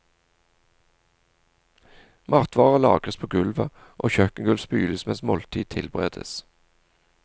Matvarer lagres på gulvet, og kjøkkengulv spyles mens måltid tilberedes.